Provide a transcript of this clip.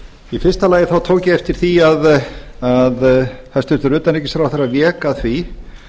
í fyrsta lagi tók ég eftir því að hæstvirtur utanríkisráðherra vék að því